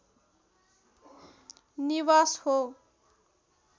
निवास हो